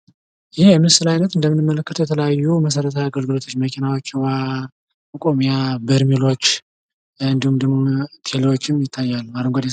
ይህ የምስል አይነት እንደምንመለከተው የተለያዩ መሠረታዊ አገልግሎቶች መኪናዎች ውሃ ማቆሚያ በርሜሎች እንድሁም ደግሞ ቴሌዎችም ይታያሉ።